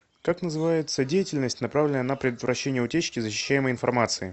как называется деятельность направленная на предотвращение утечки защищаемой информации